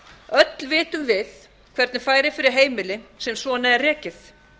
öll vitum við hvernig færi fyrir heimili sem svona er rekið